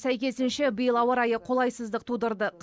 сәйкесінше биыл ауа райы қолайсыздық тудырды